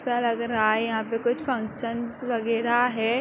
Sir अगर आए यहां पे कुछ फंक्शन्स वगेरा हैं।